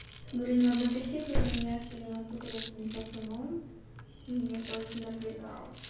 блин в одной беседе меня всё время путали с одним пацаном меня это очень напрягало